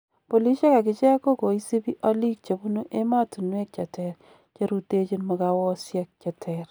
Polisiek akicheek kogooisiibi oliik chebunu emotuweek cheter cherutechin mugaawosiek cheter.